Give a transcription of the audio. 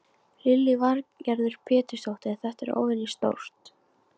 Lillý Valgerður Pétursdóttir: Þetta er óvenjustórt?